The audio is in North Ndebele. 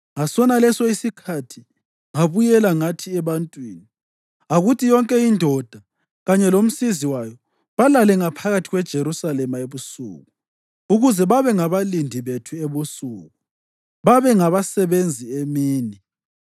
Ngasonaleso isikhathi ngabuye ngathi ebantwini, “Akuthi yonke indoda kanye lomsizi wayo balale ngaphakathi kweJerusalema ebusuku, ukuze babengabalindi bethu ebusuku, babe ngabasebenzi emini.”